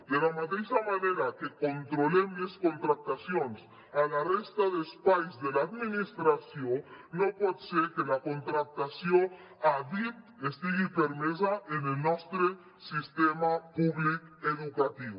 de la mateixa manera que controlem les contractacions a la resta d’espais de l’administració no pot ser que la contractació a dit estigui permesa en el nostre sistema públic educatiu